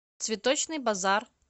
цветочный базар